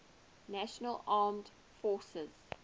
national armed forces